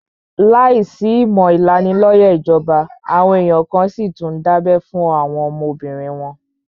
Láìsí ìmọ̀ ìlanilóyẹ̀ ìjọba, àwọn èèyàn kan n síi tún dábẹ́ fún àwọn ọmọbìnrin wọn